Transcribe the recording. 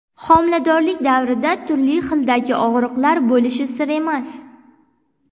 Homiladorlik davrida turli xildagi og‘riqlar bo‘lishi sir emas.